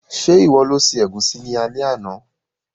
Se ìwo lo se ẹ̀gúsí ni alé àná?